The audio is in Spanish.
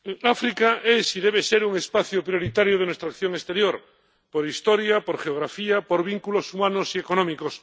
Señor presidente, África es y debe ser un espacio prioritario de nuestra acción exterior, por historia, por geografía, por vínculos humanos y económicos.